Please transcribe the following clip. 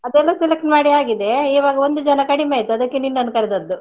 ಅದನ್ನು select ಮಾಡಿ ಆಗಿದೆ ಇವಾಗ ಒಂದು ಜನ ಕಡಿಮೆಯಾಯ್ತು ಅದಕ್ಕೆ ನಿನ್ನನ್ನು ಕರ್ದದ್ದು.